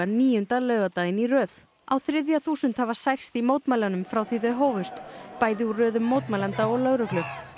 níunda laugardaginn í röð á þriðja þúsund hafa særst í mótmælunum frá því þau hófust bæði úr röðum mótmælenda og lögreglu